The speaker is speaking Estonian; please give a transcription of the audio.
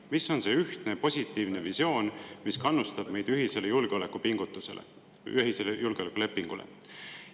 Mis on see ühtne positiivne visioon, mis kannustab meid ühisele julgeolekupingutusele, ühisele julgeolekulepingule?